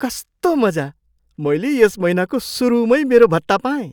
कस्तो मजा! मैले यस महिनाको सुरुमै मेरो भत्ता पाएँ!